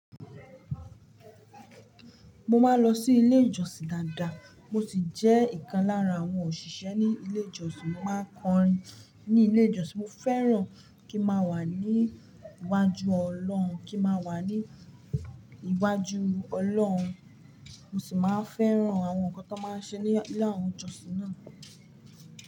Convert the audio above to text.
Mo máa ń lọ sí ilé ìjọsìn dáadáa, mo sì jẹ́ ìkan lára àwọn òṣìṣẹ́ ní ilé ìjọsìn. Mo máa ń kọrin ní ilé ìjọsìn, mo fẹ́ràn kí n máa wà ní iwájú Ọlọ́run, kí n máa wà ní iwájú Ọlọ́run. Mo sì máa ń fẹ́ràn àwọn nǹkan tó máa ń ṣẹ ní ilé àwọn ìjọsìn náà.